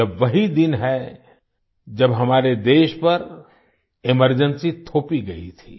यह वही दिन है जब हमारे देश पर एमरजेंसी थोपी गई थी